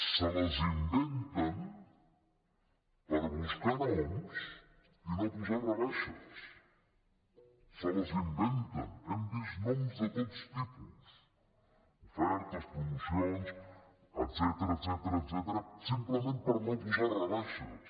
se les inventen per buscar noms i no posar rebaixes se les inventen hem vist noms de tots tipus ofertes promocions etcètera simplement per no posar rebaixes